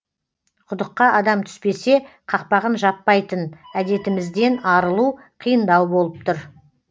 құдыққа адам түспесе қақпағын жаппайтын әдетімізден арылу қиындау болып тұр